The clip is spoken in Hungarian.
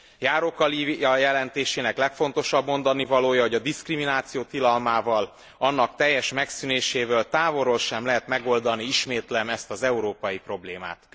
Járóka Lívia jelentésének legfontosabb mondanivalója, hogy a diszkrimináció tilalmával, annak teljes megszűnésével távolról sem lehet megoldani, ismétlem, ezt az európai problémát.